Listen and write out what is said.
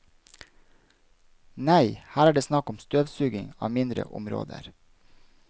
Nei, her er det snakk om støvsuging av mindre områder.